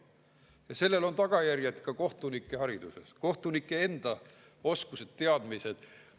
Ja sellel on tagajärjed ka kohtunike haridusele, kohtunike oskustele-teadmistele.